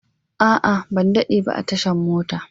A'a, ban daɗe ba a tashan mota.